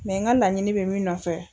Mɛ n ka laɲini bɛ min nɔfɛ